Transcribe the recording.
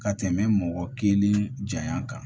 Ka tɛmɛ mɔgɔ kelen janya kan